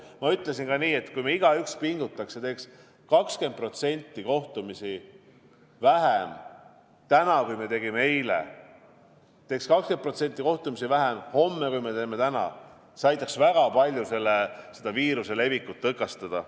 Ma ütlesin ka nii, et kui me igaüks pingutaksime ja teeksime täna 20% kohtumisi vähem, kui me tegime eile, kui me teeksime homme 20% vähem, kui me teeme täna, siis see aitaks väga palju viiruse levikut tõkestada.